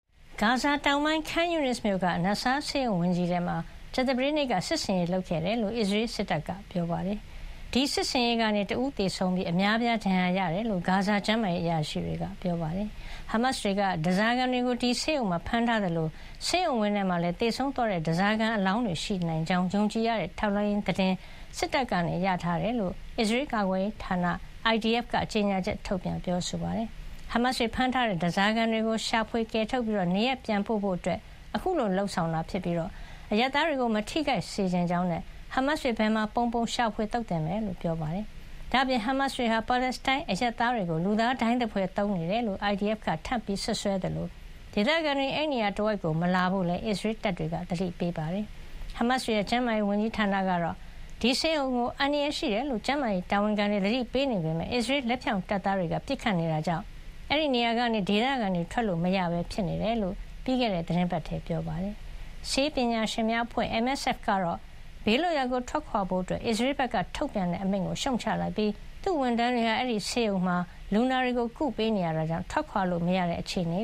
ဂါဇာတောင်ပိုင်း Khan Younis မြို့က Nasser ဆေးရုံကြီးဝင်းထဲမှာ ကြာသပတေးနေ့က စစ်ဆင်ရေးလုပ်ခဲ့တယ်လို့ အစ္စရေးစစ်တပ်က ပြောပါတယ်။ ဒီစစ်ဆင်ရေးကနေ တဦးသေဆုံးပြီး အများအပြားဒဏ်ရာရခဲ့တယ်လို့ ဂါဇာက ကျန်းမာရေးအရာရှိတွေက ပြောပါတယ်။ ဟာမတ်စ်တွေက ဓါးစားခံတွေကို ဒီဆေးရုံမှာဖမ်းထားသလို ဒီဆေးရုံဝင်းထဲမှာလည်း သေဆုံးသွားတဲ့ဓါးစာခံတွေရဲ့ အလောင်းတွေရှိနိုင်ကြောင်း ယုံကြည်ရတဲ့ ထောက်လှမ်းရေးသတင်း အစ္စရေးစစ်တပ်က ရထားတယ်လို့ အစ္စရေးကာကွယ်ရေးဌာန IDF က ကြေညာချက်ထုတ်ပြန်ပါတယ်။ ဟာမတ်စ်တွေဖမ်းထားတဲ့ဓါးစာခံတွေကို ရှာဖွေကယ်ထုတ်ပြီး နေရပ်ပြန်ပို့ဖို့ အခုလိုလုပ်နေတာဖြစ်ပြီး အရပ်သားတွေကိုမထိခိုက်စေချင်ကြောင်းနဲ့ ဟာမတ်စ်တွေ ဘယ်မှာပုန်းပုန်း ရှာဖွေသုတ်သင်မှာ ဖြစ်ကြောင်း ပြောပါတယ်။ ဒါ့အပြင် ဟာမတ်စ်တွေဟာ ပါလက်စတိုင်းအရပ်သားတွေကို လူသားဒိုင်းသဖွယ် အသုံးပြုနေတယ်လို့ IDF က ထပ်မံစွပ်စွဲခဲ့သလို ဒေသခံတွေ အဲဒီနေရာတဝိုက် မလာကြဖို့လည်း အစ္စရေးတပ်တွေက သတိပေးထားပါတယ်။ ဟာမတ်စ်တွေရဲ့ ကျန်းမာရေးဝန်ကြီးဌာနကတော့ ဒီဆေးရုံကို အန္တရာယ်ရှိတယ်လို့ ကျန်းမာရေးတာဝန်ခံတွေ သတိပေးနေပေမယ့် အစ္စရေး လက်ဖြောင့်တပ်သားတွေကပစ်ခတ်နေတဲ့အတွက် အဲဒီနေရာကနေ ဒေသခံတွေ ထွက်လို့မရဘဲဖြစ်နေတယ်လို့ ပြီးခဲ့တဲ့ သီတင်းပတ်ထဲမှာ ပြောထားပါတယ်။ နယ်စည်းမခြား ဆေးပညာရှင်များအဖွဲ့ MSF ကတော့ ဘေးလွတ်ရာထွက်ခွါဖို့ အစ္စရေးဘက်ကထုတ်ပြန်တဲ့အမိန့်ကို ရှုတ်ချလိုက်ပြီး သူ့ဝန်ထမ်းတွေဟာ အဲဒီဆေးရုံမှာ လူနာတွေကိုကုသပေးနေရတာကြောင့် ထွက်ခွါလို့ မရတဲ့ အခြေအနေ